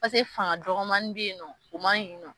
Paseke fanga dɔgɔnin be yen nɔ, o man ɲi nɔ.